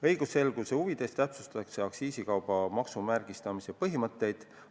Õigusselguse huvides täpsustatakse aktsiisikauba maksumärgistamise põhimõtteid.